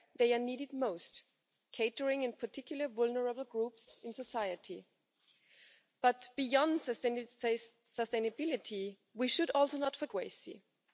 fellow citizens who have contributed to the betterment of our societies, who were instrumental in the growth of our economies, and who have shaped the Europe that we live in today.